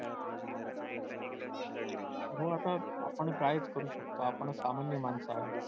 हो आता आपण कायच करू शकतो आपण सामान्य माणसं आहोत.